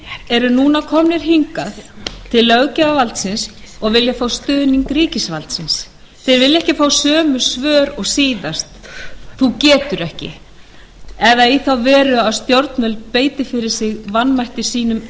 eru núna komnir hingað til löggjafarvaldsins og vilja fá stuðning ríkisvaldsins þeir vilja ekki fá sömu svör og síðast þú getur ekki eða í þá veru að stjórnvöld beiti fyrir sig vanmætti sínum enn